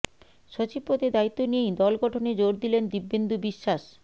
সচিব পদে দায়িত্ব নিয়েই দল গঠনে জোর দিলেন দীপেন্দু বিশ্বাস